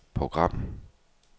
program